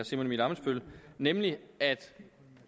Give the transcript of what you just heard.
simon emil ammitzbøll nemlig at